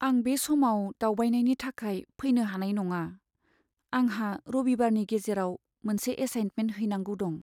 आं बे समाव दावबायनायनि थाखाय फैनो हानाय नङा। आंहा रबिबारनि गेजेराव मोनसे एसाइनमेन्ट हैनांगौ दं।